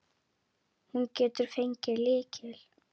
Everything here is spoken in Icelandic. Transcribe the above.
Var fest nót á þá.